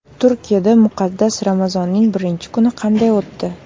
Turkiyada muqaddas Ramazonning birinchi kuni qanday o‘tdi .